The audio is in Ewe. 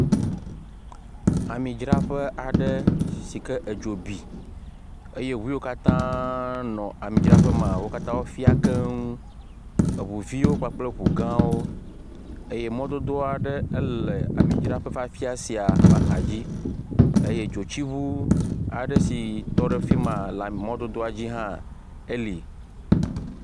Amidzraƒe aɖe si ke edzo bi eye ŋu yiwo katãa nɔ amidzraƒe maa, wo katã wofiã keŋ. Eŋuviwo kpakple eŋu gãwo. Eye mɔdodoa ɖe ele amidzraƒe fafiã sia ƒ’axadzi. Eye dzotsi aɖe si tɔ ɖe fi maa, le emɔ dodoa dzi hã eli.